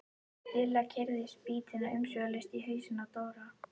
Lilla keyrði spýtuna umsvifalaust í hausinn á Dóra.